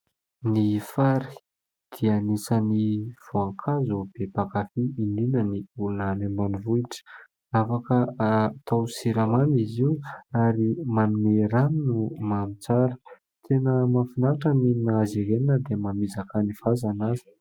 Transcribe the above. Ny fary dia anisan'ny voankazo be mpakafy indrindra ny olona any ambanivohitra, afaka atao siramamy izy io ary manome ranony mamy tsara ; tena mahafinatra ny mihinana azy ireny na dia mamizaka ny vazana azy.